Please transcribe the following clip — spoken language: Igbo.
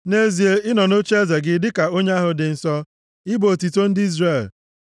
Nʼezie, i nọ nʼocheeze gị dịka Onye ahụ dị Nsọ; ị bụ otuto ndị Izrel.